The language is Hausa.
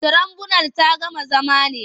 Tirabunal ta gama zama ne?